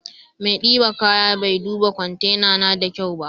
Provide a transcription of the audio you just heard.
maidiba kaya bai duba kwantena na da kyau ba.